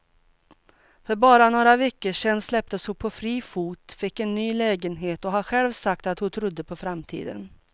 För bara några veckor sedan släpptes hon på fri fot, fick en ny lägenhet och har själv sagt att hon trodde på framtiden.